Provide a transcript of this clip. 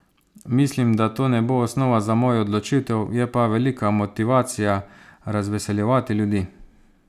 Mislim, da to ne bo osnova za mojo odločitev, je pa velika motivacija razveseljevati ljudi.